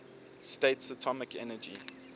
states atomic energy